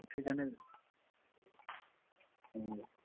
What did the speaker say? উঠি কেনে